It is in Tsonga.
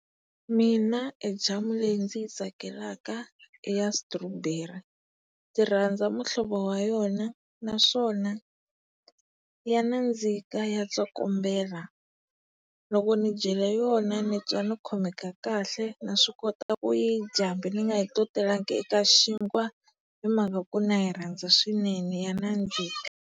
Mina e jamu leyi ndzi yi tsakelaka i ya stawberry. Ndzi rhandza muhlovo wa yona naswona ya nandzika, ya tsokombela. Loko ni dyile yona ni twa ni khomeka kahle naswi kota ku yi dya hambi ni nga yi totelanga eka xinkwa hi mhaka ku na yi rhandza swinene ya nandzika.